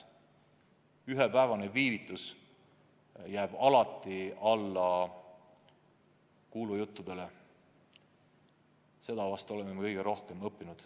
Ka ühepäevane viivitus jääb alati alla kuulujuttudele – see vahest on kõige suurem õppetund.